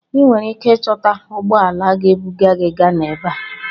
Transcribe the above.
I nwere ike ịchọta ụgbọ ala ga-ebuga gị Ghana ebe a.